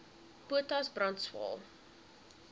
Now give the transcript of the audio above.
potas brand swael